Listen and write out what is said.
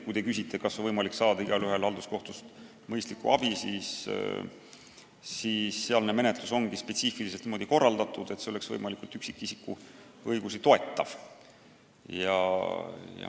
Kui te küsite, kas igaühel on võimalik saada halduskohtust mõistlikku abi, siis sealne menetlus ongi spetsiifiliselt niimoodi korraldatud, et see toetaks võimalikult hästi üksikisiku õigusi.